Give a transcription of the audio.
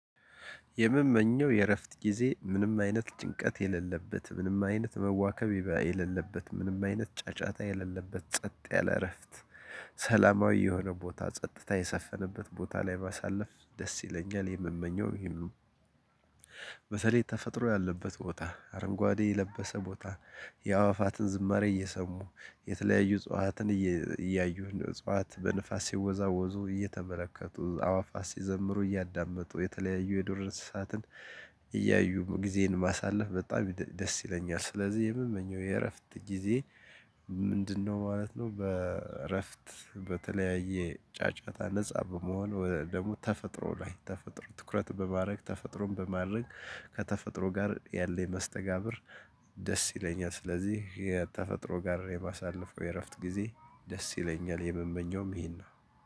የምመኘው የእረፍት ጊዜ ምንም አይነት ጭንቀት የሌለበት ምንም አይነት መዋከብ የሌለበት ምንም አይነት ጫጫታ የሌለበት ጸጥ ያለ እረፍት ሰላማዊ የሆነ ቦታ ጸጥታ የሰፈነበት ቦታ ላይ ማሳለፍ ደስ ይለኛል የምመኘውም ይሄን ነው። በተለይ ተፈጥሮ ያለበት ቦታ አረንጓዴ የለበሰ ቦታ። የአዋፋትን ዝማሬ እየሰሙ የተለያዩ እጽዋትን እያዩ እንደ እጽዋት በንፋስ ሲወዛወዙ እየተመለከቱ አዋፋ ሲዘምሩ እያዳመጡ የተለያዩ የዱር እንስሳትን እያዩ ጊዜን ማሳለፍ በጣም ደስ ይለኛል። ስለዚህ የምመኘው የእረፍት ጊዜ ምንድነው ማለት ነው? በእረፍት በተለያየ ጫጫታ ነፃ በመሆን ወደ ደግሞ ተፈጥሮ ላይ ተፈጥሮ ትኩረት በማድረግ ተፈጥሮን በማድረግ ከተፈጥሮ ጋር ያለኝ መስተጋብር። ደስ ይለኛል ስለዚህ የተፈጥሮ ጋር የማሳልፈው የእረፍት ጊዜ ደስ ይለኛል። የምንመኘውም ይሄን ነው